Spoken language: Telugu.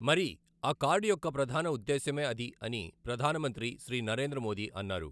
మరి ఆ కార్డు యొక్క ప్రధాన ఉద్దేశ్యమే అది అని ప్రధాన మంత్రి శ్రీ నరేంద్ర మోదీ అన్నారు.